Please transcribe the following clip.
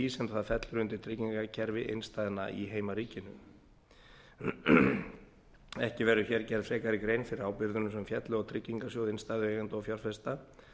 sem það fellur undir tryggingakerfi innstæðna í heimaríkinu ekki verður hér gerð frekari grein fyrir ábyrgðunum sem féllu á tryggingarsjóð innstæðueigenda og fjárfesta